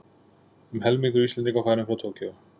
Um helmingur Íslendinga farinn frá Tókýó